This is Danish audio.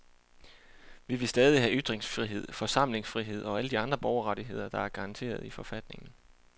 Vi vil stadig have ytringsfrihed, forsamlingsfrihed og alle de andre borgerrettigheder, der er garanteret i forfatningen.